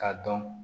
K'a dɔn